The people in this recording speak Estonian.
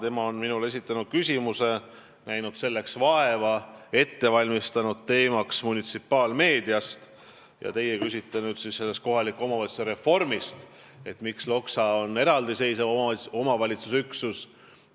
Tema on ju esitanud minule küsimuse ja näinud vaeva, valmistanud selle ette munitsipaalmeedia teemal, aga teie küsite nüüd kohaliku omavalitsuse reformi kohta, et miks on Loksa eraldiseisev omavalitsusüksus.